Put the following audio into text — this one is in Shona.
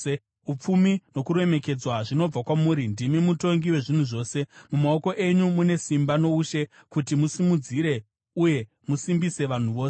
Upfumi nokuremekedzwa zvinobva kwamuri; ndimi mutongi wezvinhu zvose. Mumaoko enyu mune simba noushe kuti musimudzire uye musimbise vanhu vose.